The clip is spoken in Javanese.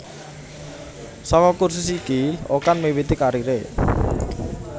Saka kursus iki Okan miwiti kariré